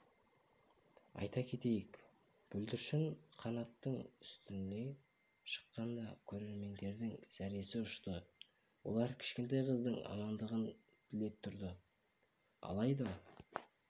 айта кетейік бүлдіршін канаттың үстіне шыққанда көрермендердің зәресі ұшты олар кішкентай қыздың амандығын тілеп тұрды алайда